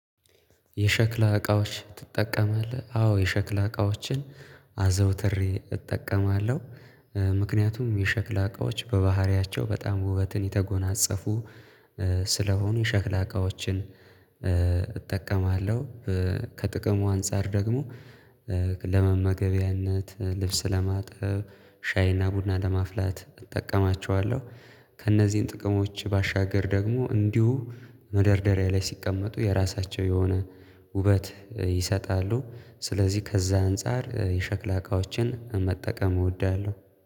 የሸክላ እቃዎች ትጠቀማለህ? አዎ የሸክላ እቃዎችን አዘውትሬ እጠቀማለሁ ምክንያቱም የሸክላ እቃዎች በባህሪያቸው በጣም ውበትን የተጎናጸፉ ስለሆኑ የሸክላ እቃዎችን እጠቀማለሁ። ከጥቅሙ አንፃር ደግሞ ለመመገቢያነት ልብስ ለማጥብ ሻይ እና ቡና ለማፍላት እጠቀማቸዋለሁ። ከእነዚህን ጥቅሞች ባሻገር ደግሞ እንዲሁ መደርደሪያ ላይ ሲቀመጡ የራሳቸው የሆነ ውበት ይሰጣሉ። ስለዚህ ከዛ አንፃር የሸክላ እቃዎችን መጠቀም እወዳለሁ